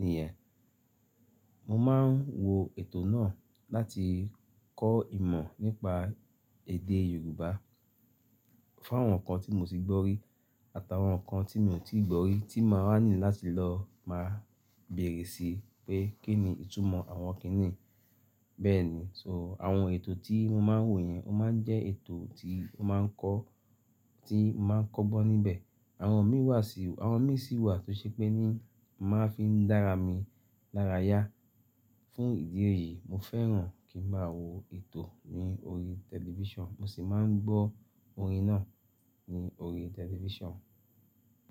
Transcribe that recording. nìyẹn. Mo máa ń wo ètò náà láti kọ́ ìmọ̀ nípa èdè Yorùbá fáwọn nǹkan tí mo ti gbọ́ rí àti awọn nǹkan tí mi ò tíì gbọ́ rí tí máa wa need láti lọ máa bèrè sí pé kí ni ìtumọ̀ àwọn kíní yi Bẹ́ẹ̀ni, so àwọn ètò tí mo máa ń wò yẹn, ó máa ń jẹ́ ètò tí máa ń kọ́gbọ́n níbẹ̀. Àwọn mí wà sì-- àwọn mí sì wà tó ṣe pé ní mo máa fi ń dára mi lára yá. Fún ìdí èyí, mo fẹ́ràn kí máa wo ètò ní orí tẹlifísàn, mo sì máa ń gbọ́ orin náà ní orí tẹlifísàn.